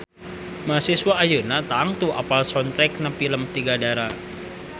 Mahasiswa ayeuna tangtu apal soundtrackna pilem Tiga Dara